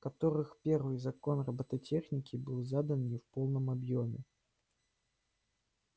которых первый закон роботехники был задан не в полном объёме